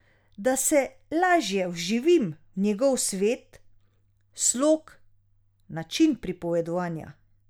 Da se lažje vživim v njegov svet, slog, način pripovedovanja.